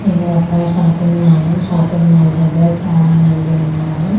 ఇది ఒక shopping mall shopping mall దగ్గర చాలామంది ఉన్నారు.